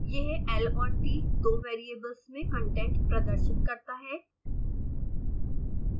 यंह l और t दो variables में कंटेंट्स प्रदर्शित करता है